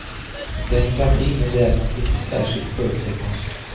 Demokratin är däremot inte särskilt förutsägbar.